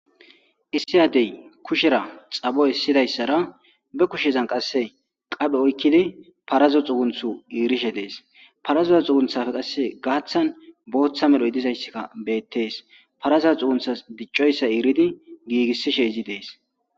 Issi addey kushera xaboy essidayssara be kushezan qasse qaphe oykkidi parazo xugunthu iirishe dees parazoza xugunthafe qasse gaaththan booththa medhoy dizayssikka beettees paraza xugunthas diccoyssa iiridi giigissishe izi dees